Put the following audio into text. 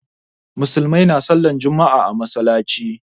Musulmai na sallar juma'a a masallaci